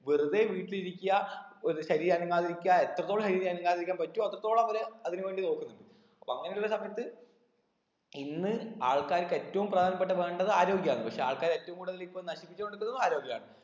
വെറുതെ വീട്ടിലിരിക്ക ഒര് ശരീരം അനങ്ങാതെ ഇരിക്ക എത്രത്തോളം ശരീരം അനങ്ങാതെ ഇരിക്കാൻ പറ്റൂ അത്രത്തോളം അവര് അതിനു വണ്ടി നോക്കുന്നുണ്ട് അപ്പൊ അങ്ങനെ ഉള്ള സമയത്ത് ഇന്ന് ആൾക്കാർക്ക് ഏറ്റവും പ്രധാനപ്പെട്ട വേണ്ടത് ആരോഗ്യാണ് പക്ഷെ ആൾക്കാര് ഏറ്റവും കൂടുതൽ ഇപ്പൊ നശിപ്പിച്ച് കൊണ്ടിക്കുന്നതും ആരോഗ്യമാണ്